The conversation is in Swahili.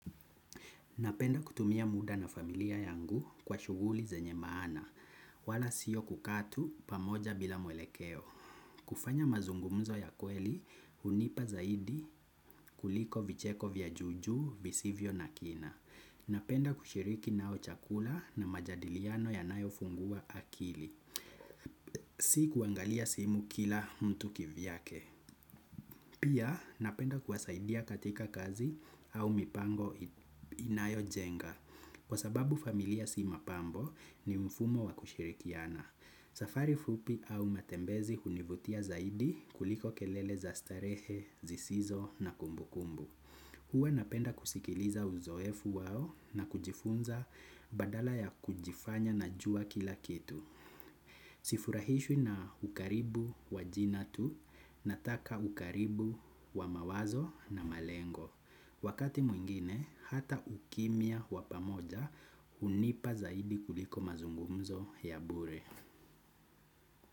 Napenda kutumia muda na familia yangu kwa shughuli zenye maana, wala siyo kukaa tu pamoja bila mwelekeo. Kufanya mazungumzo ya kweli, hunipa zaidi kuliko vicheko vya juu juu, visivyo na kina. Napenda kushiriki nao chakula na majadiliano yanayo fungua akili. Si kuangalia simu kila mtu kivyake. Pia napenda kuwasaidia katika kazi au mipango inayojenga. Kwa sababu familia si mapambo ni mfumo wa kushirikiana. Safari fupi au matembezi hunivutia zaidi kuliko kelele za starehe, zisizo na kumbu kumbu. Huwa napenda kusikiliza uzoefu wao na kujifunza badala ya kujifanya najua kila kitu. Sifurahishwi na ukaribu wa jina tu nataka ukaribu wa mawazo na malengo. Wakati mwingine, hata ukimya wa pamoja hunipa zaidi kuliko mazungumzo ya bure.